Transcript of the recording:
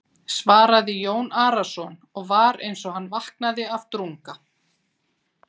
svaraði Jón Arason og var eins og hann vaknaði af drunga.